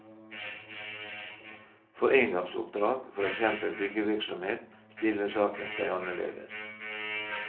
For engangsoppdrag, for eksempel byggevirksomhet, stiller saken seg annerledes.